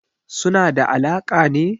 Suna da alaƙa ne?